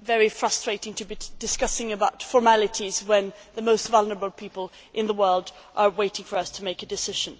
very frustrating to be discussing formalities when the most vulnerable people in the world are waiting for us to make a decision.